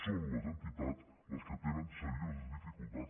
són les entitats les que tenen serioses dificultats